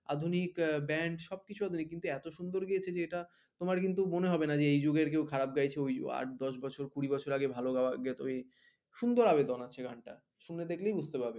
আধুনিক band সবকিছু আধুনিক কিন্তু এত সুন্দর গেয়েছে যে এটা তোমার কিন্তু মনে হবে না যে এই যুগের কেউ খারাপ গাইছে ওই যুগের আট দশ বছর কুড়ি বছর আগে ভালো গাওয়া যেত সুন্দর আবেদন আছে গানটার শুনে দেখলেই বুঝতে পারবে